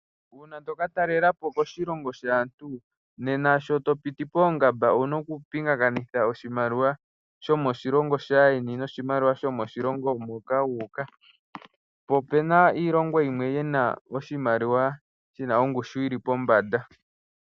Uuna to ka talela po koshilongo shaantu, nena sho to piti poongamba, owu na oku pingakanitha oshimaliwa shomoshilongo shaayeni noshimaliwa shomoshilongo moka wu uka. Po opuna iilonga yimwe yi na oshimaliwa shina ongushu yili pombanda.